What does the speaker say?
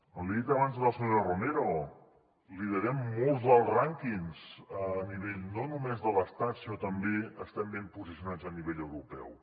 l’hi he dit abans a la senyora romero liderem molts dels rànquings a nivell no només de l’estat sinó que també estem ben posicionats a nivell europeu